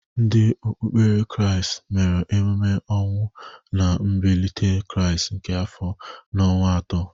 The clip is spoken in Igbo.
Ndị okpukpere kraịst mere emume ọnwụ na mbilite krịast nke afọ a n' ọnwa atọ.